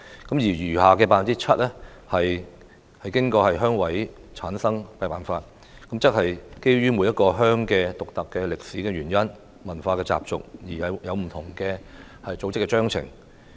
至於餘下的 7%， 則是按照鄉事會委員的產生辦法選出，即基於每一個鄉村獨特的歷史原因、文化習俗而各有不同的組織章程。